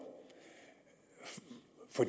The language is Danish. for